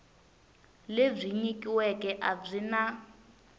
lebyi nyikiweke a byi na